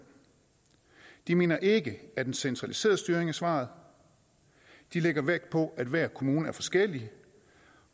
de mener ikke at centraliseret styring er svaret de lægger vægt på at hver kommune er forskellig